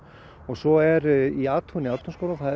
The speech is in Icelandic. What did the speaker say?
svo er í athugun í Ártúnsskóla það